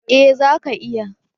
Eh, zaka iya